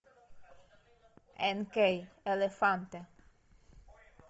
энкей элефанте